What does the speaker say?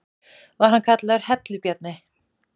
Var hann kallaður Hellu-Bjarni.